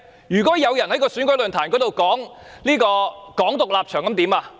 如果有人在選舉論壇上宣揚"港獨"立場怎麼辦？